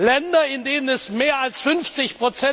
Länder, in denen mehr als 50